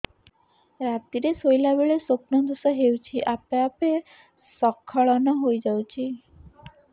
ରାତିରେ ଶୋଇଲା ବେଳେ ସ୍ବପ୍ନ ଦୋଷ ହେଉଛି ଆପେ ଆପେ ସ୍ଖଳନ ହେଇଯାଉଛି